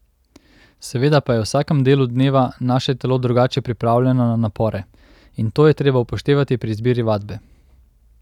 Seveda pa je v vsakem delu dneva naše telo drugače pripravljeno na napore in to je treba upoštevati pri izbiri vadbe.